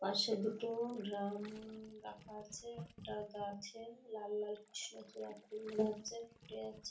পাশে দুটো ড্রাম রাখা আছে। একটা গাছে লাল লাল কৃষ্ণচূড়া ফুল গাছে ফুটে আছে ।